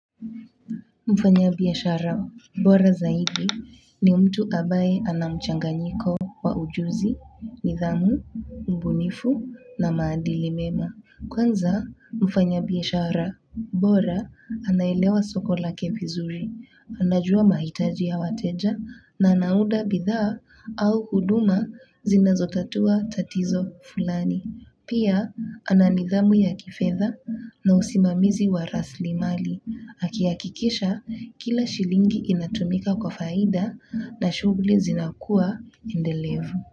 Mfanya biashara bora zaidi ni mtu ambaye anamchanganyiko wa ujuzi, nidhamu, ubunifu na maadili mema. Kwanza mfanya biashara bora anaelewa sokola kevizuri, anajua mahitaji ya wateja na anaunda bidhaa au huduma zinazotatua tatizo fulani. Pia ananidhamu ya kifedha na usimamizi wa rasmi mali, akihakikisha kila shilingi inatumika kwa faida na shughuli zinakua endelevu.